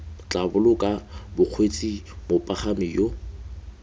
tla boloka bakgweetsi mopagami yo